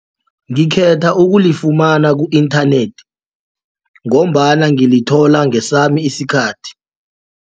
Ngekhetha ukulifumana ku-inthanethi ngombana ngilithola ngesami isikhathi.